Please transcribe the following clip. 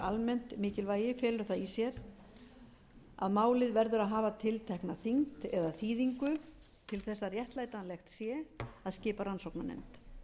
almennt mikilvægi felur það í sér að málið verður að hafa tiltekna þyngd eða þýðingu til þess að réttlætanlegt sé að skipa rannsóknarnefnd